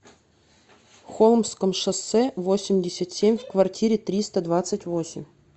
холмском шоссе восемьдесят семь в квартире триста двадцать восемь